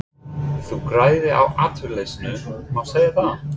Þið græðið á atvinnuleysinu, má segja það?